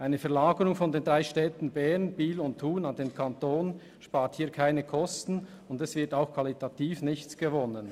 Eine Verlagerung von den drei Städten Bern, Biel und Thun zum Kanton spart hier keine Kosten, und qualitativ wird auch nichts gewonnen.